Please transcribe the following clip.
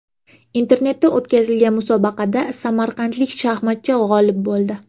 Internetda o‘tkazilgan musobaqada samarqandlik shaxmatchi g‘olib bo‘ldi.